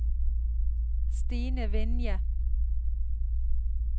Stine Vinje